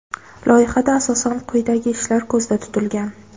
Loyihada asosan quyidagi ishlar ko‘zda tutilgan:.